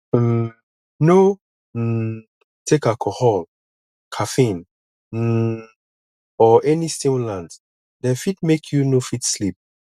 um no um take alcohol caffeine um or any stimulant dem fit make you no fit sleep